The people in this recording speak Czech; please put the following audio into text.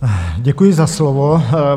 Děkuji za slovo.